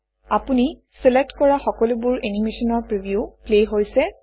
আপুনি চিলেক্ট কৰা সকলোবোৰ এনিমেচনৰ প্ৰিভিউ প্লে হৈছে